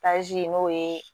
n'o ye